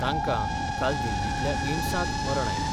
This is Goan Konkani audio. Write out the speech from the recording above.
तांका काल दिल्लीतल्या एम्सात मरण आयिल्ले.